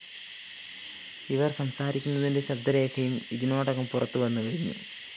ഇവര്‍ സംസാരിക്കുന്നതിന്റെ ശബ്ദരേഖയും ഇതിനോടകം പുറത്തു വന്നുകഴിഞ്ഞു